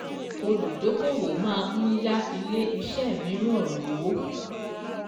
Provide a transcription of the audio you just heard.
Olùdókòwò màa n yá ilé iṣẹ́ mìíràn lówó.